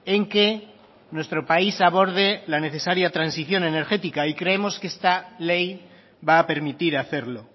en que nuestro país aborde la necesaria transición energética y creemos que esta ley va a permitir hacerlo